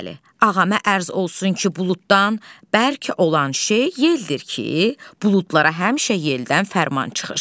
Bəli, ağamə ərz olsun ki, buluddan bərk olan şey yeldir ki, buludlara həmişə yeldən fərman çıxır.